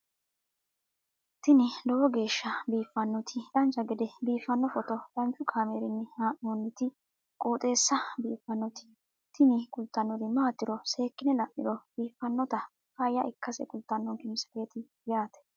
tini lowo geeshsha biiffannoti dancha gede biiffanno footo danchu kaameerinni haa'noonniti qooxeessa biiffannoti tini kultannori maatiro seekkine la'niro biiffannota faayya ikkase kultannoke misileeti yaate